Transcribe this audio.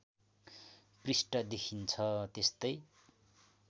पृष्ठ देखिन्छ त्यस्तै